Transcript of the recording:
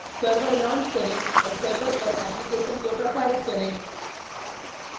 server launch करें और server पर application को प्रसारित करें